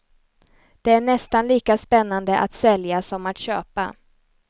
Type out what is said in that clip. Det är nästan lika spännande att sälja som att köpa.